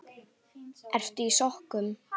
Ertu í sokkum?